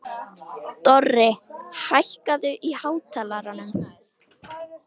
Dorri, hækkaðu í hátalaranum.